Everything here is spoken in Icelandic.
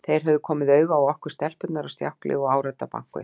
Þeir höfðu komið auga á okkur stelpurnar á stjákli og áræddu að banka upp á.